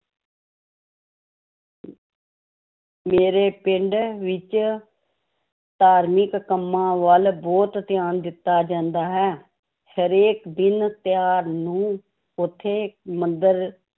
ਮੇਰੇ ਪਿੰਡ ਵਿੱਚ ਧਾਰਮਿਕ ਕੰਮਾਂ ਵੱਲ ਬਹੁਤ ਧਿਆਨ ਦਿੱਤਾ ਜਾਂਦਾ ਹੈ, ਹਰੇਕ ਦਿਨ ਤਿਉਹਾਰ ਨੂੰ ਉੱਥੇ ਮੰਦਿਰ